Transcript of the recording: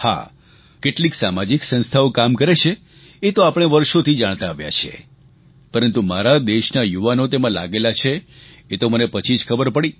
હા કેટલીક સામાજિક સંસ્થાઓ કામ કરે છે એ તો આપણે વર્ષોથી જાણતા આવ્યા છીએ પરંતુ મારા દેશના યુવાનો તેમાં લાગેલા છે એ તો મને પછી જ ખબર પડી